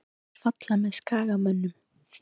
Hverjir falla með Skagamönnum?